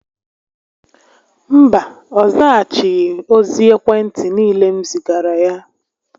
Mba, ọ zaghachighi ozi ekwe ntị niile m zigara ya